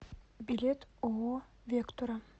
билет ооо вектура